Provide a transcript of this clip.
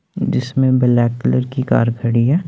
जिसमें black colour की car खड़ी है।